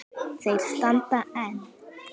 Þeir standa enn.